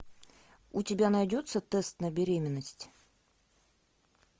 у тебя найдется тест на беременность